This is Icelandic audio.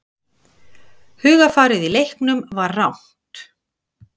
Hugarfarið í leiknum var rangt.